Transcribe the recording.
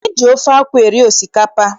E ji ofe akwụ eri osikapa.